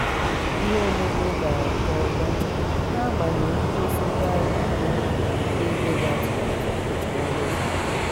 ihe omume gara n’ihu nke ọma n’agbanyeghị ngosi ngagharị iwe na-emeghị atụmatụ n’ọnụ ụzọ ámá.